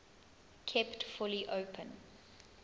kept fully open